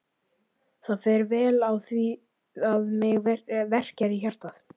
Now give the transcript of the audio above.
Það fer vel á því að mig verkjar í hjartað.